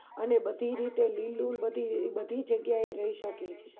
અને બધી રીતે લીલું બધી રીતે જગ્યા એરહી શકે